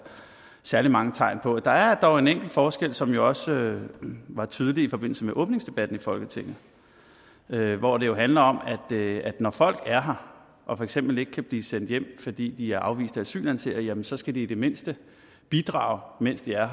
særlig mange tegn på det der er dog en enkelt forskel som også var tydelig i forbindelse med åbningsdebatten i folketinget hvor det jo handler om at når folk er her og for eksempel ikke kan blive sendt hjem fordi de er afviste asylansøgere så skal de i det mindste bidrage mens de er